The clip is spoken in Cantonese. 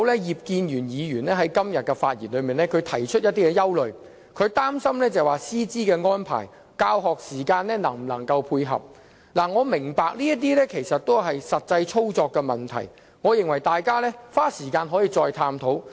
葉建源議員今天發言時提出一些憂慮，他擔心師資安排和教學時間能否配合，我明白這些是實際操作的問題，大家可以花時間再探討。